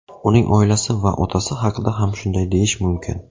Uning oilasi va otasi haqida ham shunday deyish mumkin.